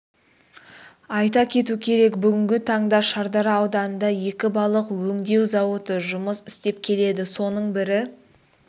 айта кету керек бүгінгі таңда шардара ауданында екі балық өңдеу зауыты жұмыс істеп келеді соның бірі